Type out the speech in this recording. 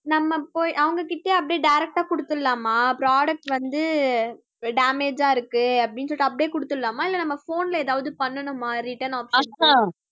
நம்ம போய் அவங்க கிட்டயே அப்படியே direct ஆ கொடுத்திடலாமா product வந்து damage ஆ இருக்கு அப்படின்னு சொல்லிட்டு அப்படியே குடுத்திடலாமா இல்லை நம்ம phone ல ஏதாவது பண்ணணமா return option